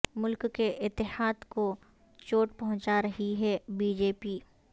ملک کے اتحاد کو چوٹ پہنچا رہی ہے بی جے پی